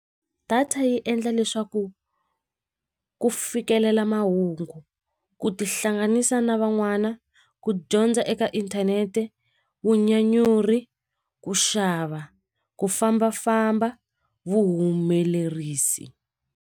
Data yi endla leswaku ku fikelela mahungu ku tihlanganisa na van'wana ku dyondza eka inthanete vunyanyuri ku xava ku fambafamba vuhumelerisi.